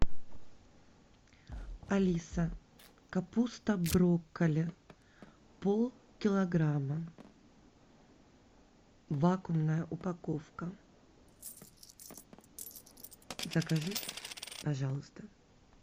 алиса капуста брокколи полкилограмма вакуумная упаковка закажи пожалуйста